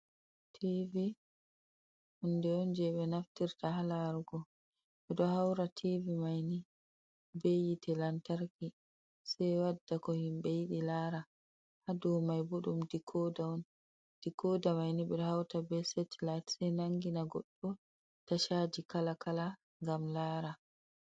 Tivi hunde on je ɓe naftirta ha larugo ɓeɗo haura tivi maini be yitte lantarki sai wadda ko himɓe yidi lara ha dou mai bo ɗum dikoda on dikoda maini ɓeɗo hauta be setelite sai nangina goɗɗo tachaji kala kala gam lara.